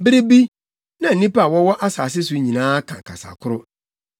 Bere bi, na nnipa a wɔwɔ asase so nyinaa ka kasa koro.